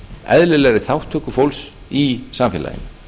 eðlilegri þátttöku fólks í samfélaginu